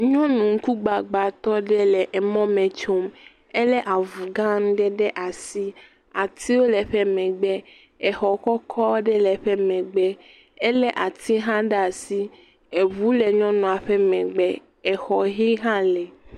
Nyɔnu ŋku gbagbãtɔ aɖe le mɔ me tsom. Elé avu gã aɖe ɖe asi. Atiwo le eƒe megbe, xɔ kɔkɔ aɖe le eƒe megbe, elé ati hã ɖe asi, ŋu le nyɔnua ƒe megbe. Xɔ ʋie hã li.